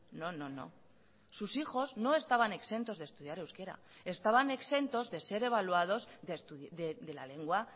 no no no sus hijos no estaban exentos de estudiar euskera estaban exentos de ser evaluados de la lengua